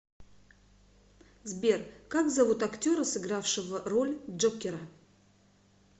сбер как зовут актера сыгравшего роль джокера